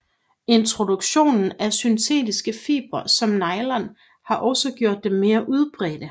Introduktionen af syntetiske fibre som nylon har også gjort dem mere udbredte